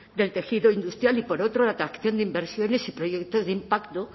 del tejido industrial y por otro la atracción de inversiones y proyectos de impacto